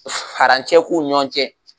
Ka farancɛ k'u ni ɲɔgɔn cɛ.